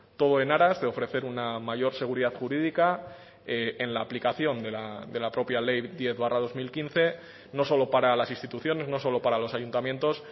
todo en aras de ofrecer una mayor seguridad jurídica en la aplicación de la propia ley diez barra dos mil quince no solo para las instituciones no solo para los ayuntamientos